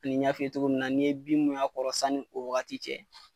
N y'a f'i ye cogo min na n'i ye bin min y'a kɔrɔ sani ni o wagati cɛ.